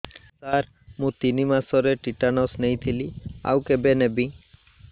ସାର ମୁ ତିନି ମାସରେ ଟିଟାନସ ନେଇଥିଲି ଆଉ କେବେ ନେବି